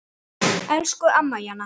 Elsku amma Jana.